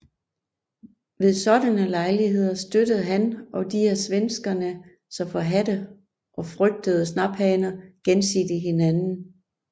Ved sådanne lejligheder støttede han og de af svenskerne så forhadte og frygtede snaphaner gensidigt hinanden